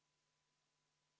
Palun võtta seisukoht ja hääletada!